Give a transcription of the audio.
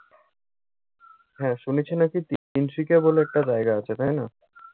হ্যাঁ, শুনেছি নাকি তিনশিকা বলে একটা জায়গা আছে তাই না?